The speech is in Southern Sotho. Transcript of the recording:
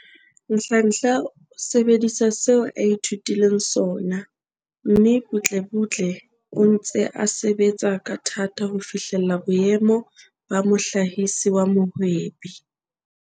Nhlanhla o sebedisa seo a ithutileng sona, mme butlebutle o ntse a sebetsa ka thata ho fihlella boemo ba mohlahisi wa mohwebi.